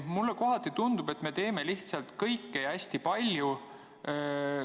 Mulle kohati tundub, et me teeme lihtsalt kõike ja hästi palju.